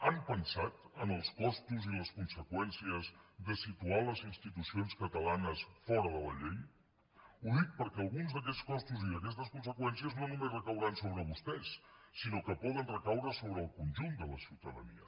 han pensat en els costos i les conseqüències de situar les institucions catalanes fora de la llei ho dic perquè alguns d’aquests costos i d’aquestes conseqüències no només recauran sobre vostès sinó que poden recaure sobre el conjunt de la ciutadania